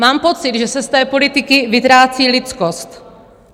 Mám pocit, že se z té politiky vytrácí lidskost.